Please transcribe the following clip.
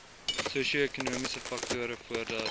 sosioekonomiese faktore voordat